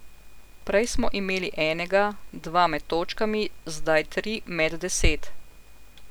Prej smo imeli enega, dva med točkami, zdaj tri med deset.